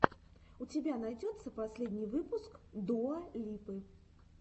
у тебя найдется последний выпуск дуа липы